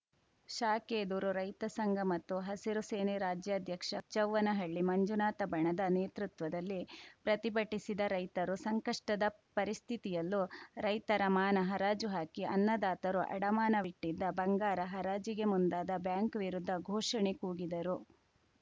ಶಾಖೆ ಎದುರು ರೈತ ಸಂಘ ಮತ್ತು ಹಸಿರು ಸೇನೆ ರಾಜ್ಯಾಧ್ಯಕ್ಷ ಹುಚ್ಚವ್ವನಹಳ್ಳಿ ಮಂಜುನಾಥ ಬಣದ ನೇತೃತ್ವದಲ್ಲಿ ಪ್ರತಿಭಟಿಸಿದ ರೈತರು ಸಂಕಷ್ಟದ ಪರಿಸ್ಥಿತಿಯಲ್ಲೂ ರೈತರ ಮಾನ ಹರಾಜು ಹಾಕಿ ಅನ್ನದಾತರು ಅಡಮಾನವಿಟ್ಟಿದ್ದ ಬಂಗಾರ ಹರಾಜಿಗೆ ಮುಂದಾದ ಬ್ಯಾಂಕ್‌ ವಿರುದ್ಧ ಘೋಷಣೆ ಕೂಗಿದರು